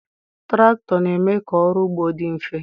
traktọ na-eme ka ọrụ ugbo dị mfe